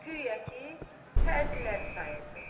Guya ki, pərdələri sayırdı.